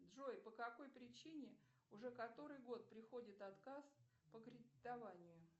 джой по какой причине уже который год приходит отказ по кредитованию